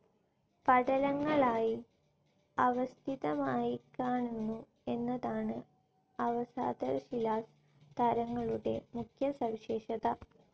പടലങ്ങളായി അവസ്ഥിതമായിക്കാണുന്നു എന്നതാണ് അവസാദശിലാസ്തരങ്ങളുടെ മുഖ്യ സവിശേഷത.